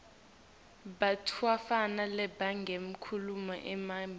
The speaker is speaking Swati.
bantfwana labangemakhulu lamabili